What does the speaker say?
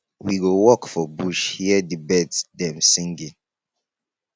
we go walk for bush hear di birds dem singing